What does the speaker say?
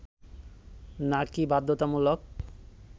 নাকি বাধ্যতামূলক